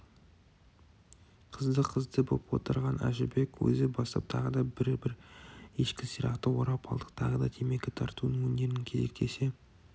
қызды-қызды боп отырған әжібек өзі бастап тағы да бір-бір ешкі сирақты орап алдық тағы да темекі тартудың өнерін кезектесе